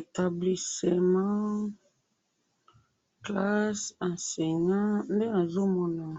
établissement, classe...nde nazo mona awa.